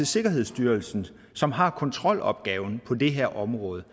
sikkerhedsstyrelsen som har kontrolopgaven på det her område